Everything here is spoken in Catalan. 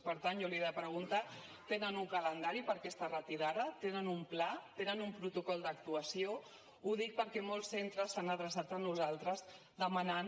per tant jo li he de preguntar tenen un calendari per a aquesta retirada tenen un pla tenen un protocol d’actuació ho dic perquè molts centres s’han adreçat a nosaltres demanant